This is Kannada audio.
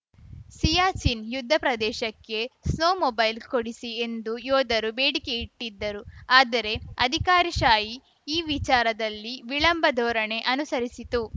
ಸಿಯಾಚಿನ್‌ ಯುದ್ಧ ಪ್ರದೇಶಕ್ಕೆ ಸ್ನೋಮೊಬೈಲ್‌ ಕೊಡಿಸಿ ಎಂದು ಯೋಧರು ಬೇಡಿಕೆ ಇಟ್ಟಿದ್ದರು ಆದರೆ ಅಧಿಕಾರಿಶಾಹಿ ಇ ವಿಚಾರದಲ್ಲಿ ವಿಳಂಬ ಧೋರಣೆ ಅನುಸರಿಸಿತು